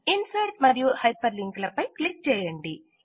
insert మరియు hyperlink పై click చేయండి